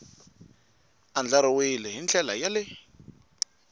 andlariwile hi ndlela ya le